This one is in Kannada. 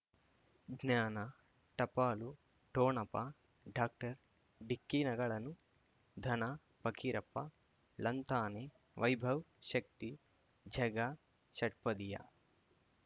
ಜ್ಞಾನ ಟಪಾಲು ಠೋಣಪ ಡಾಕ್ಟರ್ ಢಿಕ್ಕಿ ಣಗಳನು ಧನ ಫಕೀರಪ್ಪ ಳಂತಾನೆ ವೈಭವ್ ಶಕ್ತಿ ಝಗಾ ಷಟ್ಪದಿಯ